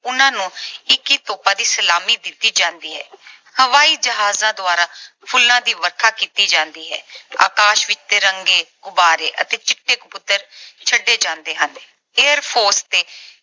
ਉਹਨਾਂ ਨੂੰ ਇੱਕੀ ਤੋਪਾਂ ਦੀ ਸਲਾਮੀ ਦਿੱਤੀ ਜਾਂਦੀ ਹੈ। ਹਵਾਈ ਜਹਾਜਾਂ ਦੁਆਰਾ ਫੁੱਲਾਂ ਦੀ ਵਰਖਾ ਕੀਤੀ ਜਾਂਦੀ ਹੈ। ਆਕਾਸ਼ ਵਿੱਚ ਤਿਰੰਗੇ, ਗੁਬਾਰੇ ਅਤੇ ਚਿੱਟੇ ਕਬੂਤਰ ਛੱਡੇ ਜਾਂਦੇ ਹਨ। Air Force ਤੇ